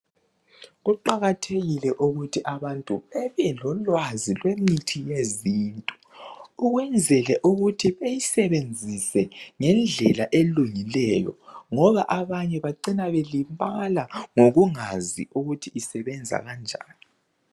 Kuqakathekile ukuthi abantu babe lolwazi lwemithi yezintu ukwenzela ukuthi bayisebenzise ngendlela elungileyo ngoba abanye bacina belimala ngokungazi ukuthi isebenza kanjani